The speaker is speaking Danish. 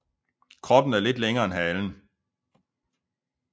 Kroppen er lidt længere end halen